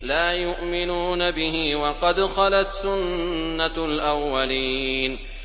لَا يُؤْمِنُونَ بِهِ ۖ وَقَدْ خَلَتْ سُنَّةُ الْأَوَّلِينَ